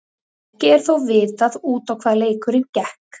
Ekki er þó vitað út á hvað leikurinn gekk.